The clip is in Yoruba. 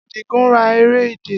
Adigun ra ere idẹ.